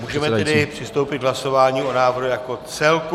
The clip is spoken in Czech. Můžeme tedy přistoupit k hlasování o návrhu jako celku.